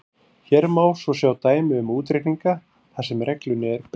Hér má svo sjá dæmi um útreikninga þar sem reglunni er beitt: